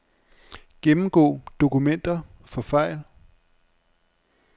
Gennemgå dokumenter for fejl.